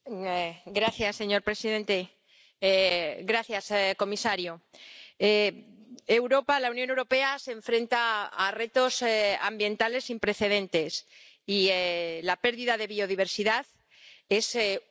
Señor presidente, señor comisario, Europa, la Unión Europea, se enfrenta a retos ambientales sin precedentes y la pérdida de biodiversidad es uno de ellos.